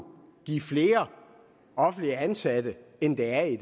give flere offentligt ansatte end der er i